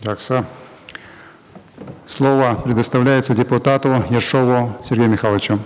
жақсы слово предоставляется депутату ершову сергею михайловичу